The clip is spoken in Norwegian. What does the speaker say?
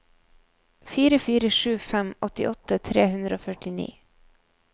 fire fire sju fem åttiåtte tre hundre og førtini